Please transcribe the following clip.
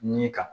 Nin kan